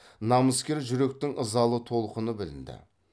намыскер жүректің ызалы толқыны білінді